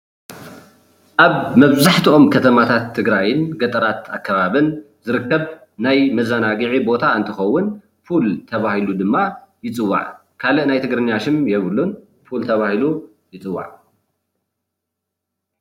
ኣብ መብዛሕትኦም ከተማታት ትግራይን ገጠራት ኣከባቢን ዝርከብ ናይ መዘናጊዒ ቦታ እንትከውን ፑል ተባሂሉ ድማ ይፅዋዕ፡፡ ካልእ ናይ ትግርኛ ሽም የብሉን ፉል ተባሂሉ ይፅዋዕ፡፡